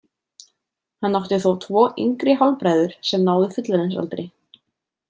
Hann átti þó tvo yngri hálfbræður sem náðu fullorðinsaldri.